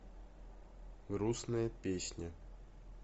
грустная песня